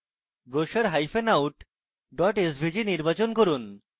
brochureout svg নির্বাচন করুন